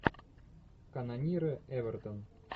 канониры эвертон